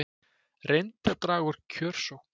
Reyndi að draga úr kjörsókn